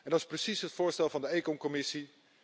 Dat is precies het voorstel van de ECON commissie.